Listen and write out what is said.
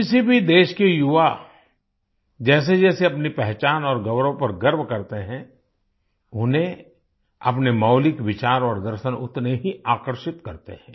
किसी भी देश के युवा जैसेजैसे अपनी पहचान और गौरव पर गर्व करते हैं उन्हें अपने मौलिक विचार और दर्शन उतने ही आकर्षित करते हैं